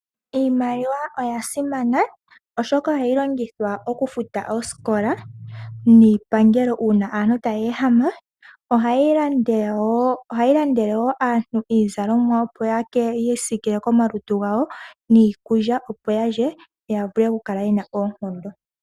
Iimaliwa oya simana oshoka ohayi longithwa oku futa oosikola niipangelo uuna aantu taya ehama. Ohayi landele woo aantu iizalomwa opo yiisiikile komalutu gawo niikulya opo ya lye ya vule oku kala yena oonkondo.